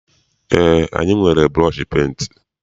Eé, anyị nwere bụrọshi penti.